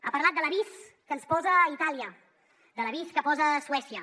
ha parlat de l’avís que ens posa itàlia de l’avís que posa suècia